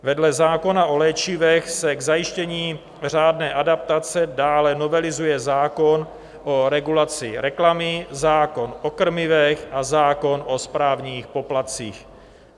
Vedle zákona o léčivech se k zajištění řádné adaptace dále novelizuje zákon o regulaci reklamy, zákon o krmivech a zákon o správních poplatcích.